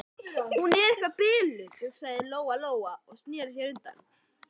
Hún er eitthvað biluð, hugsaði Lóa-Lóa og sneri sér undan.